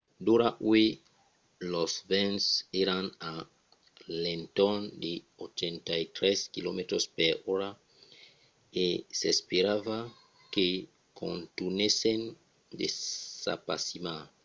d'ora uèi los vents èran a l'entorn de 83 km/h e s'esperava que contunhèssen de s'apasimar